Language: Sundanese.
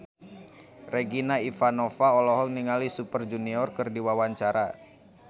Regina Ivanova olohok ningali Super Junior keur diwawancara